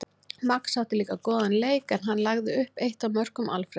Max átti líka góðan leik en hann lagði upp eitt af mörkum Alfreðs.